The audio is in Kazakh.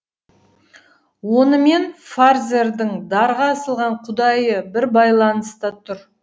онымен фарзердің дарға асылған құдайы бір байланыста тұр